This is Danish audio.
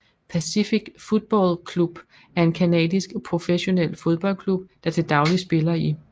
Pacific Football Club er en canadisk professionel fodboldklub der til dagligt spiller i